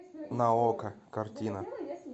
на окко картина